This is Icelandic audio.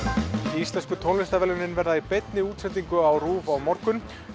íslensku tónlistarverðlaunin verða í beinni útsendingu á RÚV á morgun